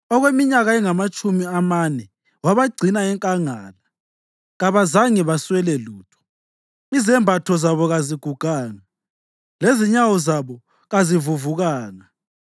Okweminyaka engamatshumi amane wabagcina enkangala; kabazange baswele lutho, izembatho zabo kaziguganga lezinyawo zabo kazivuvukanga.